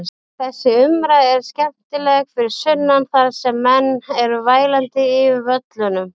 Þessi umræða er skemmtileg fyrir sunnan þar sem menn eru vælandi yfir völlunum.